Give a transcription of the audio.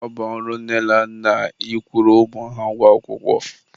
ọ bụ ọrụ nne na nna ị kwụrụ ụmụ ha ụgwọ akwụkwọ.